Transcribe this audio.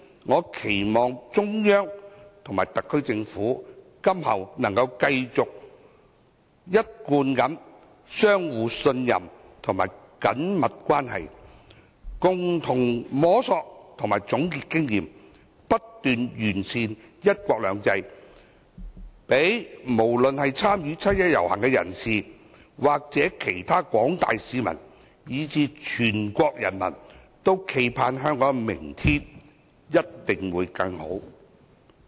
我期望中央和特區政府今後能夠繼續一貫的互相信任及緊密關係，共同摸索和總結經驗，不斷完善"一國兩制"，讓參與七一遊行的人士、其他廣大市民以至全國人民冀盼，香港明天一定會更好。